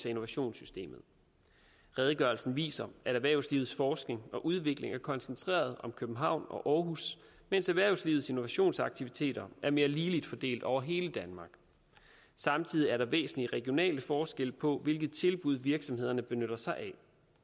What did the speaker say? innovationssystemet redegørelsen viser at erhvervslivets forskning og udvikling er koncentreret om københavn og aarhus mens erhvervslivets innovationsaktiviteter er mere ligeligt fordelt over hele danmark samtidig er der væsentlige regionale forskelle på hvilke tilbud virksomhederne benytter sig af